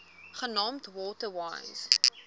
genaamd water wise